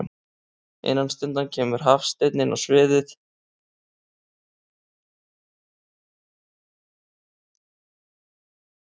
Innan stundar kemur Hafsteinn frammá sviðið og tekur sér stöðu í ræðustólnum.